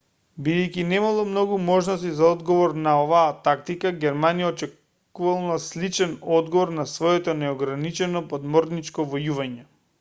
бидејќи немало многу можности за одговор на оваа тактика германија очекувала сличен одговор на своето неограничено подморничко војување